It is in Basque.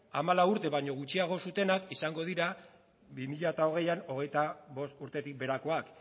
hamalau urte baino gutxiago zutenak izango dira bi mila hogeian hogeita bost urtetik beherakoak